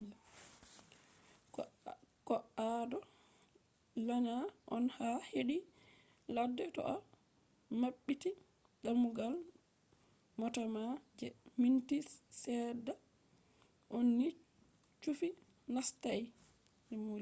ko’ado lanya on ha hedi ladde to’a mabbiti damugal mota ma je minti sedda on ni chufi nastai